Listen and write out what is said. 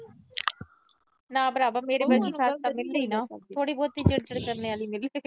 ਨਾ ਭਰਾਵਾਂ ਮੇੇਰੇ ਵਰਗੀ ਸੱਸ ਤਾਂ ਮਿਲੇ ਈ ਨਾ, ਥੋੜੀ ਬਹੁਤ ਚਿੜ-ਚਿੜ ਕਰਨ ਆਲੀ ਮਿਲੇ।